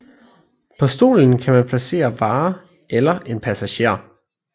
På stolen kan man placere varer eller en passager